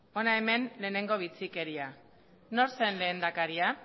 hona hemen lehenengo bitxikeria nor zen lehendakaria